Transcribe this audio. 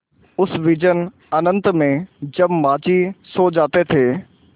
उस विजन अनंत में जब माँझी सो जाते थे